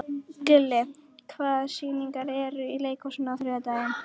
Gulli, hvaða sýningar eru í leikhúsinu á þriðjudaginn?